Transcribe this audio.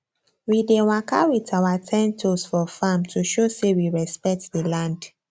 we dey waka with our ten toes for farm to show say we respect di land